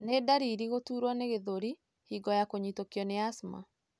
Nĩ ndariri gũturwo nĩ gĩthũri hingo ya kũnyitũkio nĩ asthma.